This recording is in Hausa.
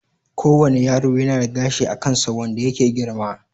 Ko wane yaro yana da gashi a kansa wanda yake girma